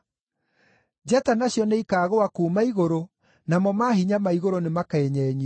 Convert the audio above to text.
njata nacio nĩikaagũa kuuma igũrũ, namo maahinya ma igũrũ nĩmakenyenyio.’